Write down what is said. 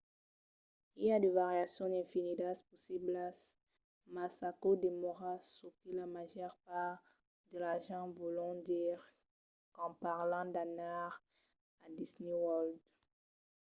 i a de variacions infinidas possiblas mas aquò demòra çò que la màger part de las gents vòlon dire quand parlan d""anar a disney world